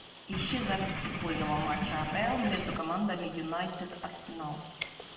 ищи запись футбольного матча апл между командами юнайтед арсенал